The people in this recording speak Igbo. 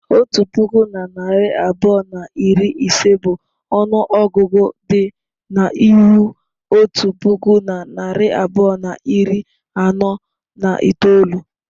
Otu puku na narị abụọ na iri ise bụ ọnụ ọgụgụ dị n'ihu otu puku na narị abụọ na iri anọ na itoolu.